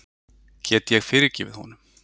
Get ég fyrirgefið honum?